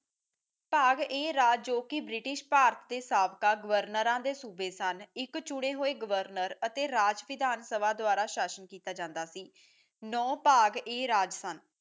ਬਾਗ ਏ ਰਾਜ ਜੋ ਬ੍ਰਿਟਿਸ਼ ਭਾਰਤ ਸਾਕਾ ਗਵਰਨਰਾ ਦੇ ਸੂਬੇ ਸਨ ਇੱਕ ਚੁਣੇ ਹੋਏ ਗਵਰਨਰਾ ਅਤੇ ਰਾਜ ਵਿਧਾਨਸਭਾ ਦੁਆਰਾ ਸ਼ਾਸਿਤ ਕੀਤਾ ਜਾਂਦਾ ਸੀ ਨੋ ਬਾਗ ਏ ਰਾਜ ਸਨ